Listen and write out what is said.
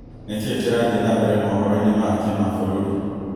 nĩkĩĩ kĩrathie na mbere mohoroinĩ ma kĩmabũrũri